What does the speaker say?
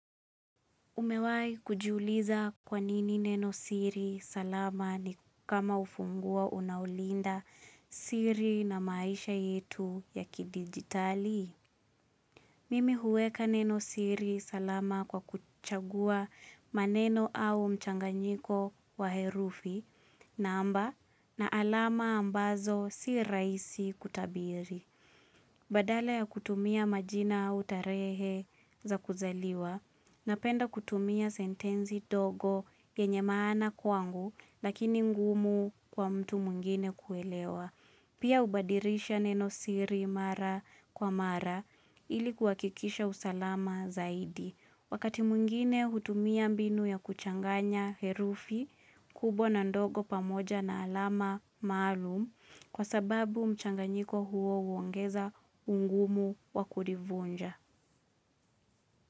Umewai kujuliza kwanini neno siri salama ni kama ufungua unaolinda siri na maisha yetu ya kidigitali. Mimi huweka neno siri salama kwa kuchagua maneno au mchanganyiko wa herufi na amba na alama ambazo si raisi kutabiri. Badala ya kutumia majina au tarehe za kuzaliwa, napenda kutumia sentenzi dogo yenye maana kwangu lakini ngumu kwa mtu mwingine kuelewa. Pia ubadirisha neno siri mara kwa mara ili kuhakikisha usalama zaidi. Wakati mwingine hutumia mbinu ya kuchanganya herufi kubwa na ndogo pamoja na alama maalum kwa sababu mchanganyiko huo huongeza ungumu wa kulivunja.